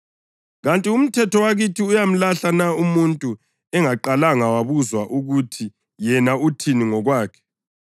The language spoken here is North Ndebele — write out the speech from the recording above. “Kanti umthetho wakithi uyamlahla na umuntu engaqalanga wabuzwa ukuthi yena uthini ngokwakhe?”